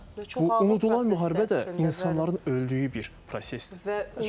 Və unudulan müharibə də insanların öldüyü bir prosesdir.